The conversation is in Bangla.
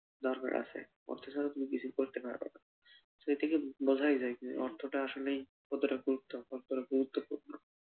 দরকার আছে, অর্থ ছাড়া তুমি কিছুই করতে পারবানা, সে থেকে বোঝায় যায় অর্থটা আসলেই কতটা গুরুত্ব কতটা গুরুত্বপূর্ণ।